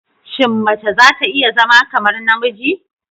Shin mace za ta iya zama kamar namiji?